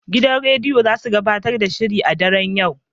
Gidan rediyon zasu gabatar da shirin a daren yau.